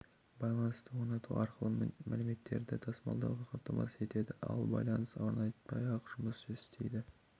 байланысты орнату арқылы мәліметтерді тасмалдауды қамтамасыз етеді ал байланыс орнатпай-ақ жұмыс істейді